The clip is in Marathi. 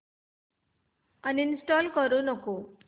अनइंस्टॉल करू नको